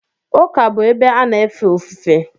ụka bụ ebe a na efe ofufe